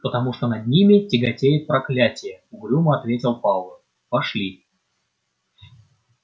потому что над ними тяготеет проклятие угрюмо ответил пауэлл пошли